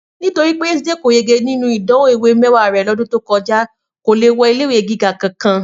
Nítorí pé Yétúndé kò yege nínú ìdánwò ìwé mẹ́wàá rẹ̀ lọ́dún tó kọjá, kò lè wọ ilé ìwé gíga kankan